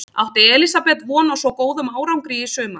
Átti Elísabet von á svo góðum árangri í sumar?